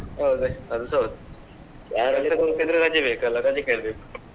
ಹೌದು ಅದುಸ ಹೌದು ಹೋಗ್ತಿದ್ರೆ ರಜೆ ಬೇಕಲ್ಲ ರಜೆ ಕೇಳ್ಬೇಕು.